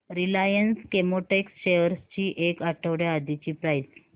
Reliance Chemotex shares ची एक आठवड्या आधीची प्राइस